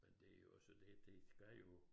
Men det jo også det det skal jo